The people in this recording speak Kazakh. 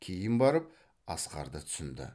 кейін барып асқарды түсінді